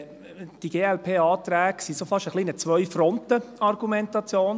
Die Glp-Anträge waren fast ein wenig eine Zwei-Fronten-Argumentation.